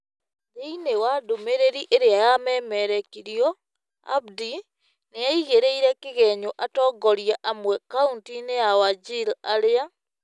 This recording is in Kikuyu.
Thĩinĩ wa ndũmĩrĩri ĩrĩa yememerĩkirio, Abdi, nĩ aigĩrĩire kĩgenyo atongoria amwe kauntĩ -inĩ ya Wajir arĩa,